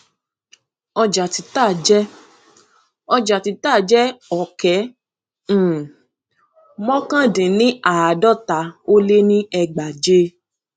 ọjà títà jẹ ọjà títà jẹ ọkẹ um mọkàndínníàádọta ó lé ní ẹgbàáje